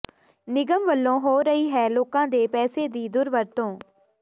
ਨਿਗਮ ਵੱਲੋਂ ਹੋ ਰਹੀ ਹੈ ਲੋਕਾਂ ਦੇ ਪੈਸੇ ਦੀ ਦੁਰਵਰਤੋਂ